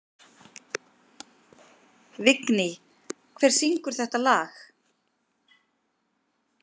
Vigný, hver syngur þetta lag?